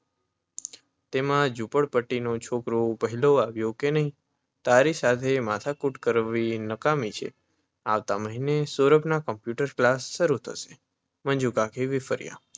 તેમાં ઝૂંપડપટ્ટીનો છોકરો પહેલો આવ્યો કે નહીં! તારી સાથે માથાકૂટ કરવી નક્કામી છે. આવતા મહિનાથી સૌરભના કમ્પ્યૂટર ક્લાસ શરૂ થશે. મંજુકાકી વીફર્યાં.